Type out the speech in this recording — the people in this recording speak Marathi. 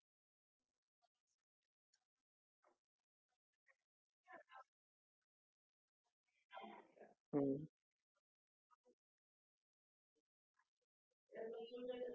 तर मला असं वाटतं आमच्याकडून काही problem होणं म्हणजे शक्य आहे, माणसांकडूनच चुका होतात पण कधीच refrigerator किंवा oven अशे मोठेमोठे ते gadgets आहेत.